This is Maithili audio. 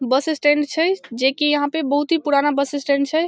बस स्टैंड छै जे की यहाँ पे बहुत ही पुराना बस स्टैंड छै।